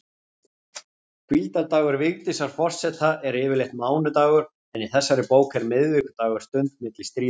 Hvíldardagur Vigdísar forseta er yfirleitt mánudagur, en í þessari bók er miðvikudagur stund milli stríða.